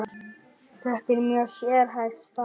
Þetta er mjög sérhæft starf.